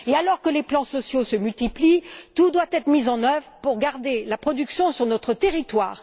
Alors que les plans sociaux se multiplient, tout doit être mis en œuvre pour garder la production sur notre territoire.